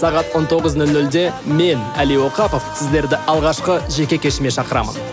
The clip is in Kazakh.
сағат он тоғыз нөл нөлде мен әли оқапов сіздерді алғашқы жеке кешіме шақырамын